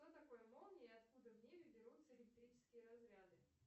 что такое молния и откуда в небе берутся электрические разряды